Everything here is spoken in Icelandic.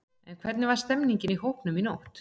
En hvernig var stemningin í hópnum í nótt?